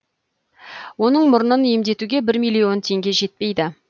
оның мұрнын емдетуге бір миллион теңге жетпейді